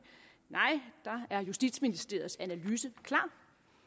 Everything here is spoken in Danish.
nej der er justitsministeriets analyse klar